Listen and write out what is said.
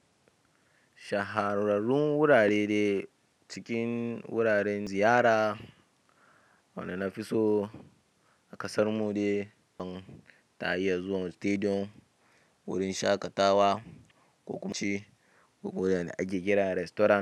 Shahararrun wurare de cikin wuraren ziyara waɗanda na fi so a ƙasar mu de don tayi zuwa stadium, wurin shaƙatawa, ƙunganci ko ko'ina da a ke ƙira restorant.